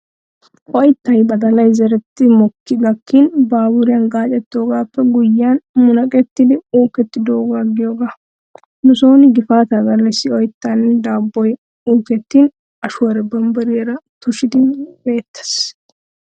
Oyttay badalay zereettidi mokkidi gakkin baaburiyan gaacettoogaappe guyyiyaan munaqettidi uukkidoogaa giyoogaa. Nu sooni gifaataa gallassi oyttaynne daabboy uukettin ashuwaara bambbariyaa tushidi meettees.